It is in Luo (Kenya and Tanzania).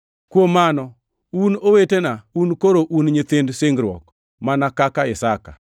Kuom mano un owetena, un koro un nyithind singruok mana kaka Isaka.